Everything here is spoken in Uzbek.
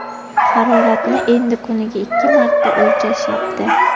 Haroratni endi kuniga ikki marta o‘lchashyapti.